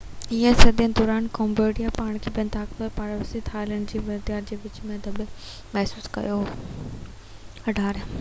18 هين صدي دوران ڪمبوڊيا پاڻ کي ٻن طاقتور پاڙيسري ٿائيلينڊ ۽ ويتنام جي وچ ۾ دٻيل محسوس ڪيو